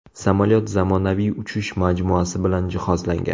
Samolyot zamonaviy uchish majmuasi bilan jihozlangan.